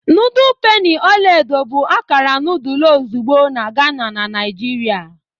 Noodles penny ọla edo bụ akara nudul ozugbo na Ghana na Naijiria.